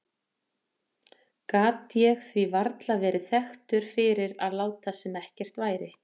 Gat ég því varla verið þekktur fyrir að láta sem ekkert væri.